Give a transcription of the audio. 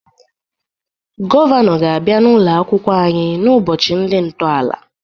Gọvanọ ga-abịa n'ụlọ akwụkwọ anyị n'ụbọchị ndị ntọala.